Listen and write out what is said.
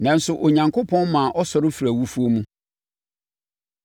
Nanso, Onyankopɔn maa ɔsɔre firii awufoɔ mu,